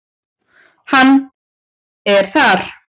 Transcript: Hann er þar.